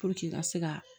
i ka se ka